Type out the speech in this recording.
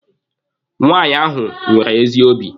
Nwaanyị ahụ nwere ezi obi.